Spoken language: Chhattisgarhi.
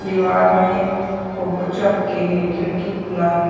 दीवाल में फोटो चपके हे खिड़की खुला हे।